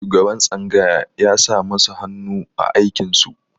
Shugaban tsangaya ya sa masu hannu a aikin su.